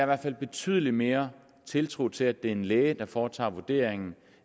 hvert fald betydelig mere tiltro til at det er en læge der foretager vurderingen